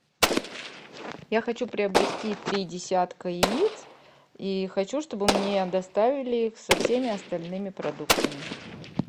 я хочу приобрести три десятка яиц и хочу чтобы мне их доставили со всеми остальными продуктами